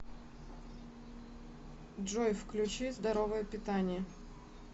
джой включи здоровое питание